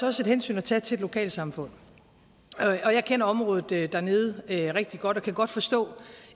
også et hensyn at tage til et lokalsamfund jeg kender området dernede rigtig godt og kan godt forstå